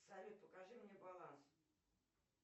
салют покажи мне баланс